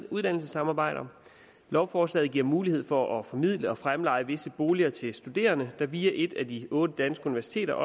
uddannelsessamarbejder lovforslaget giver mulighed for at formidle og fremleje visse boliger til studerende der via et af de otte danske universiteter